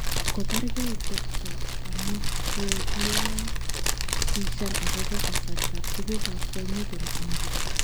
Kobargei chepto amu kogiabishan agobo kasartab tuguk ab kwonyik eng India